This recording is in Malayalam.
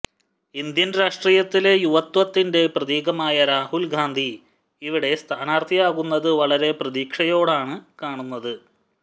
ഇന്ത്യന് രാഷ്ട്രീയത്തിലെ യുവത്വത്തിന്റെ പ്രതീകമായ രാഹുല്ഗാന്ധി ഇവിടെ സ്ഥാനാര്ഥിയാകുന്നത് വളരെ പ്രതീക്ഷയോടെയാണ് കാണുന്നത്